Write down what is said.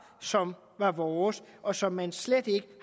som var vores og som man slet ikke